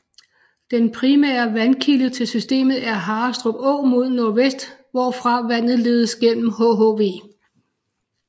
Den primære vandkilde til systemet er Harrestrup Å mod nordvest hvorfra vandet ledes gennem hhv